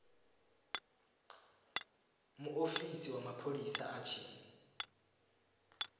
muofisi wa mapholisa a tshi